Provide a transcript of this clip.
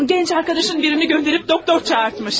Gənc yoldaşından birini göndərib həkim çağırmış.